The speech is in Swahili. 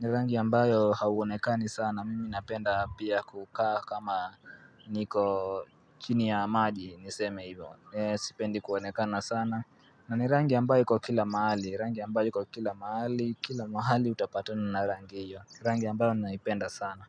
ni rangi ambayo hauonekani sana mimi napenda pia kukaa kama niko chini ya maji niseme hivyo Sipendi kuonekana sana na ni rangi ambayo iko kila mahali, rangi ambayo iko kila mahali, kila mahali utapatana na rangi hiyo Rangi ambayo naipenda sana.